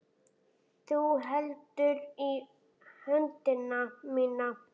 Þú heldur í höndina mína.